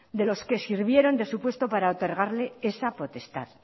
de los que sirvieron de supuesto para otorgarle esa potestad